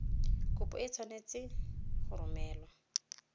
kopo e tshwanetse go romelwa